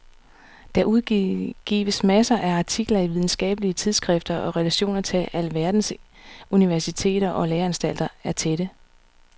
Der udgives masser af artikler i videnskabelige tidsskrifter og relationerne til alverdens universiteter og læreanstalter er tætte.